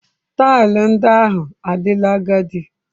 Taịlị ndị ahụ adịla agadi.